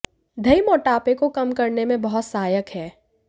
दही मोटापे को कम करने में बहुत सहायक है